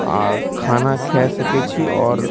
आ खाना खा सके छी और --